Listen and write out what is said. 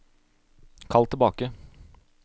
kall tilbake